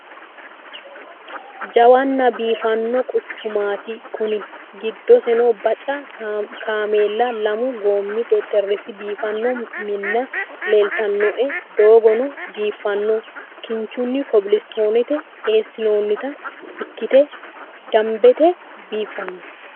Jawwana biifano quchuchumati kuni. giddosino bacca kaammela lamu gommi xexxerisi biifano Minna leelitanoe dooggono biifanno kinnichini cobbilisitone eesinonita ikkite damibete biifano